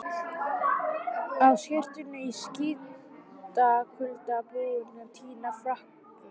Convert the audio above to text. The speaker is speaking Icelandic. Á skyrtunni í skítakulda, búinn að týna frakkanum.